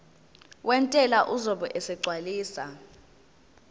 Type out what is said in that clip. wentela uzobe esegcwalisa